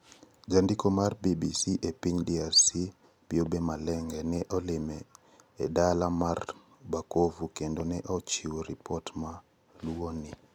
Jandiko mar BBC e piny DRC, Byobe Malenga, ne olime e dala mar Bukavu kendo ne ochiwo ripot ma luwoni.